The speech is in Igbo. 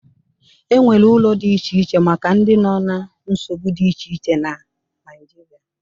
E nwere ụlọ dị iche iche maka ndị nọ na nsogbu dị iche iche na Naịjirịa.